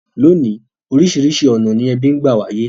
Lónìí, orísìrísi ọ̀nà ni ebí n gba wáyé